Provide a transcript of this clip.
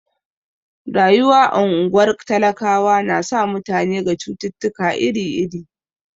Rayuwa a ungwar talakawa na sa mutane ga cututtuka iri iri.